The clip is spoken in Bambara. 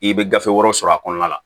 I bɛ gafe wɛrɛw sɔrɔ a kɔnɔna la